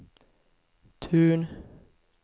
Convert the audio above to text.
Tun